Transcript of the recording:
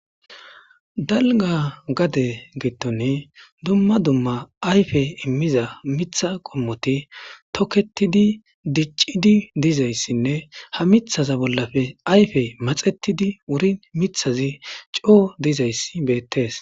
dalga gade gittone dumma dumma ayfe immiza mitha qommoti toketidi diccidi dizayssinne ha mithaza bollafe ayfe maxetidi wuri mithazi coo dizayssi beettees